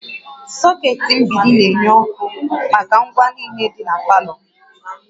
Socket mgbidi na-enye ọkụ maka ngwa niile dị na palọ